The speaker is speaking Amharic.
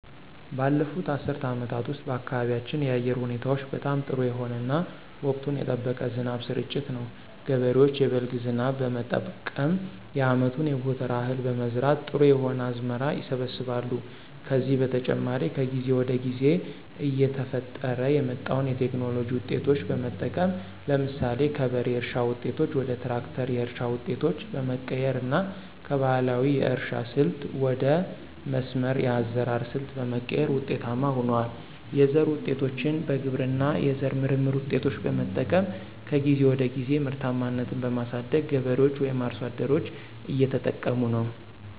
ባለፉት አስርት አመታት ውስጥ በአካባቢያችን የአየር ሁኔታዎች በጣም ጥሩ የሆነ እና ወቅቱን የጠበቀ የዝናብ ስርጭት ነው። ገበሬዎች የበልግ ዝናብ በመጠቀም የአመቱን የጎተራ እህል በመዝራት ጥሩ የሆነ አዝመራ ይሰበስባሉ። ከዚህ በተጨማሪ ከጊዜ ወደ ጊዜ እየተፈጠረ የመጣዉን የቴክኖሎጂ ዉጤቶች በመጠቀም ለምሳሌ ከበሬ እርሻ ዉጤቶች ወደ ትራክተር የእርሻ ዉጤቶች በመቀየር እና ከባህላዊ የእርሻ ስልት ወደ መስመር የአዘራር ሰልት በመቀየር ውጤታማ ሁነዋል። የዘር ዉጤቶችን በግብርና የዘር ምርምር ውጤቶች በመጠቀም ከጊዜ ወደ ጊዜ ምርታማነትን በማሳደግ ገበሬዎች ወይም አርሶ አደሮች እየተጠቀሙ ነው።